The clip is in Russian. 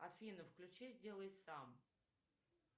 афина включи сделай сам